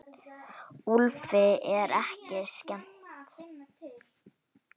Úlfi er ekki skemmt.